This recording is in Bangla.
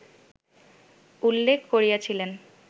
উল্লেখ করিয়াছিলেন